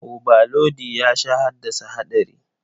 Obalodi ya sha haddasa haɗari.